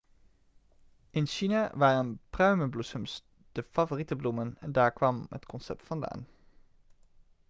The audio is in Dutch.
in china waren pruimenbloesems de favoriete bloemen en daar kwam het concept vandaan